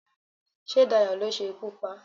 sé Dayo lo se ikú pa